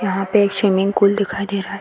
यहाँ पे एक स्विमिंग पूल दिखाई दे रहा है।